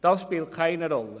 Das spielt keine Rolle.